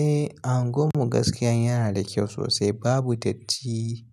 Eh, a unguwan mu gaskiya yana da kyau sosai babu datti.